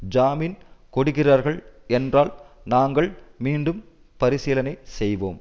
ஜாமீன் கொடுக்கிறார்கள் என்றால் நாங்கள் மீண்டும் பரிசீலனை செய்வோம்